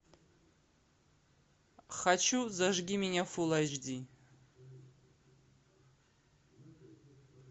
хочу зажги меня фулл эйч ди